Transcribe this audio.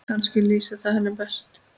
Kannski lýsir það henni best.